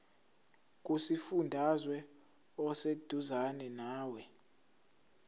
kusifundazwe oseduzane nawe